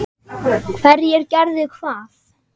Hverjir gerðu hvað?